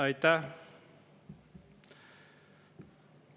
Aitäh!